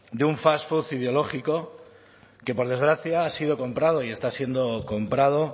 de un fast food ideológico que por desgracia ha sido comprado y está siendo comprado